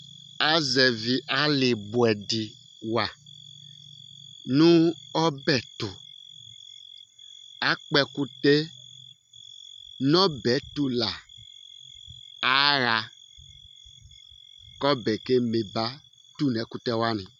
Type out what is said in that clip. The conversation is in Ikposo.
Azɛvi alí bʋɛdi wa nʋ ɔbɛ tu Akpɔ ɛkʋtɛ yɛ nʋ ɔbɛ yɛ tu la aha kʋ ɔbɛ yɛ keme ba tu nʋ ɛkʋtɛ wani